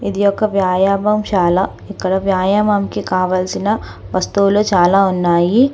ఇది ఒక వ్యాయమంశాల. ఇక్కడ వ్యాయామంకి కావలసిన వస్తువులు చాలా ఉన్నాయి.